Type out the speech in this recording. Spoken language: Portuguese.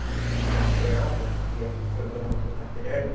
Eu sei que eu apanhava porque a professora não olhava meu caderno.